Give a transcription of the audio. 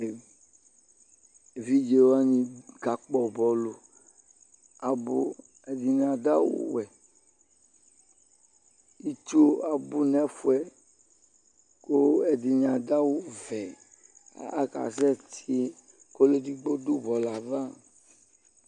evidƶe wani ka pkɔ bɔlu abu ɛdini adu awu wɛ itchu abu n'ɛfuɛ ku ɛdini adua awu vɛ aka sɛ tĩ ku ɔlu edigbo du bɔlua aʋa